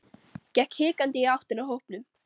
Gekk hikandi í áttina að hópnum.